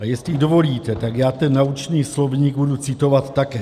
A jestli dovolíte, tak já ten naučný slovník budu citovat také.